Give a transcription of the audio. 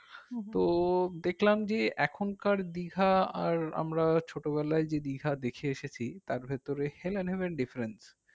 তো দেখলাম যে এখনকার দীঘা আর আমরা যে ছোটবেলার যে দীঘা দেখে এসেছি তার ভেতরে heaven different